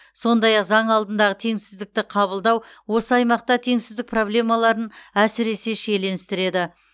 сондай ақ заң алдындағы теңсіздікті қабылдау осы аймақта теңсіздік проблемаларын әсіресе шиеленістіреді